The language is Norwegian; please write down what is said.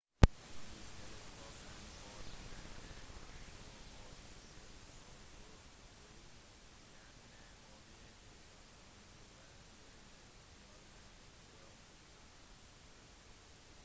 disse teleskopene kombinerte to objektiver for å vise fjerne objekter som om de var både nærmere og større